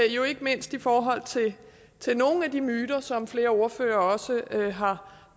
jo ikke mindst i forhold til nogle af de myter som flere ordførere også har